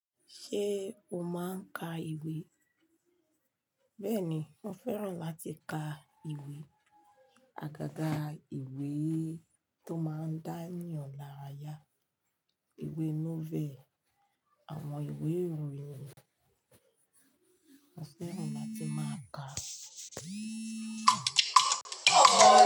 Ṣé o máa ń ka ìwé? Bẹ́ẹ̀ni, mo fẹ́ràn láti ka ìwé, àgàgà ìwé tó máa ń dá eyàn lára ya, ìwé "novel" àwọn ìwé ìròyìn ni mo fẹ́ràn láti máa ka.